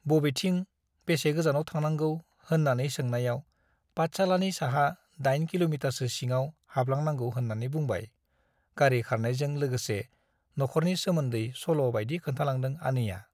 बबेथिं , बेसे गोजानाव थांनांगौ होन्नानै सोनायाव पाठशालानि साहा दाइन किल'मिटारसो सिङाव हाबलांनांगौ होननानै बुंबाय गारी खारनायजों लोगोसे न'खरनि सोमोन्दै सल' बाइदि खोन्थालांदों आनैया ।